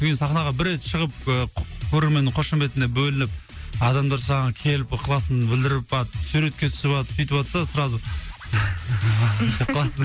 содан кейін сахнаға бір рет шығып ы көрерменнің қошеметіне бөлініп адамдар саған келіп ықыласын білдіріп барып суретке түсіп алып сүйтіватса сразу деп қаласың